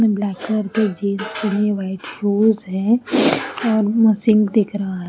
Black colour के jeans white gloves है और मशीन दिख रहा है।